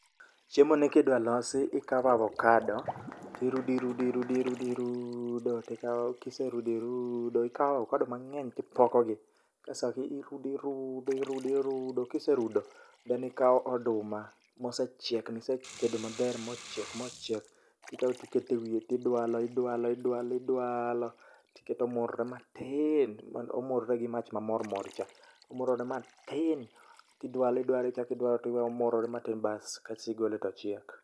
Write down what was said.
Chiemo ni kidwa losi ikawo avokado, tirudo irudo irudo irudo irudo irudoo. Tikawo kiserudi rudo ikawo avokado mang'eny tipokogi. Ka sa irudi irudo irudi rudo, kiserudo then ikawo oduma mosechiek misetedo maber mochiek mochiek. Tikawo tikete wiye tidwalo, idwalo idwalo idwaloo. Tiketo omurore matiin, omurore gi mach ma mor mor cha. Omurore matin, tidwalo idwalo ichakidwalo tiwe omurore matin bas kasti golo tochiek.